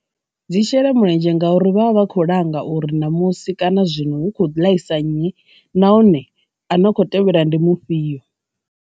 Dzi shela mulenzhe ngauri vha vha vha kho langa uri na musi kana zwino hu kho ḓi ḽaisa nnyi nahone ano kho tevhela ndi mufhio.